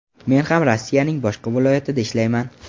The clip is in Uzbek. Men ham Rossiyaning boshqa viloyatida ishlayman.